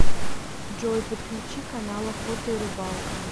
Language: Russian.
джой подключи канал охота и рыбалка